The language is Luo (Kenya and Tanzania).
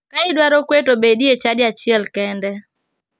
Ka idwaro kwe to bedi e chadi achiel kende.